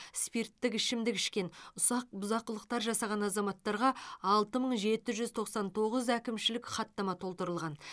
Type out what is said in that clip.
спирттік ішімдік ішкен ұсақ бұзақылықтар жасаған азаматтарға алты мың жеті жүз тоқсан тоғыз әкімшілік хаттама толтырылған